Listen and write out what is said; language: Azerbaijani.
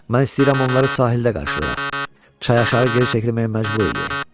Mən istəyirəm onları sahildə qarşılayax, çay aşağı geri çəkilməyə məcbur eləyək.